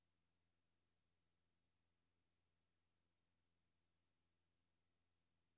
Der skal også være tid til sneboldkampe, hulebygning, indendørslege og spil.